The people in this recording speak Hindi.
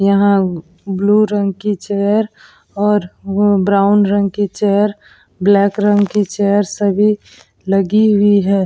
यहां ब्लू रंग की चेयर और वो ब्राउन रंग की चेयर ब्लैक रंग की चेयर सभी लगी हुई हैं।